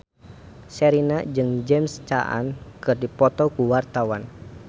Sherina jeung James Caan keur dipoto ku wartawan